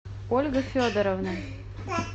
ольга федоровна